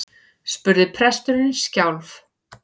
spurði presturinn skjálf